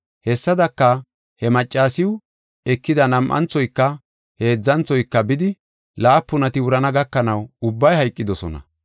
Hessadaka, he maccasiw ekida nam7anthoyka, heedzanthoyka, bidi laapunati wurana gakanaw ubbay hayqidosona.